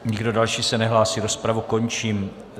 Nikdo další se nehlásí, rozpravu končím.